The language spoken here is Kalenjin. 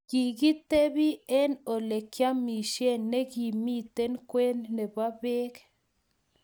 Kigitebi eng olegiamishen negimiten kwen nebo beek